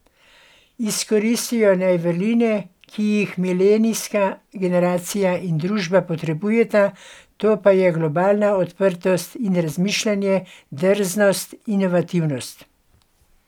Izkoristijo naj vrline, ki jih milenijska generacija in družba potrebujeta, to pa so globalna odprtost in razmišljanje, drznost, inovativnost.